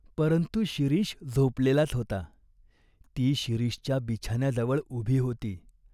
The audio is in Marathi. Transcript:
परंतु शिरीष झोपलेलाच होता. ती शिरीषच्या बिछान्याजवळ उभी होती.